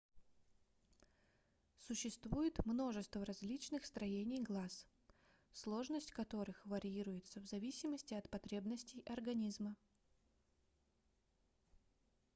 существует множество различных строений глаз сложность которых варьируется в зависимости от потребностей организма